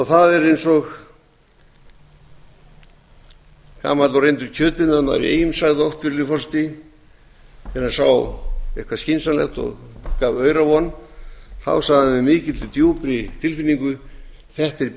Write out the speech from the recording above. það er eins og gamall og reyndur kjötiðnaðarmaður í eyjum sagði oft virðulegi forseti þegar hann sá eitthvað skynsamlegt og gaf aura von með mikilli og djúpri tilfinningu þetta er bisness